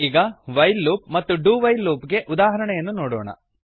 ಈಗ while loop ಮತ್ತು do while loop ಗೆ ಉದಾಹರಣೆಯನ್ನು ನೋಡೋಣ